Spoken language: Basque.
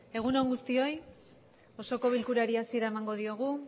egun on guztioi osoko bilkurari hasiera emango diogu